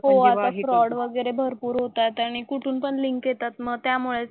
हो आता फ्रॉड वगैरे भरपूर होतायत आणि कुठून पण लिंक येतात मग त्यामुळेच.